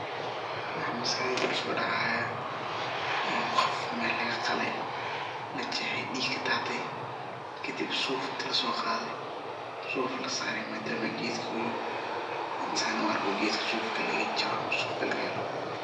Waxaa maskaxdeyda kusodhacaya eeh qof mel lagaqalay, lajexay dhiig nah kadatay kadib suf inti lasoqaday suf lasaray madama gedka uu yoho san aniga u arko gedka sufka lagajaro ama sufka lagahelo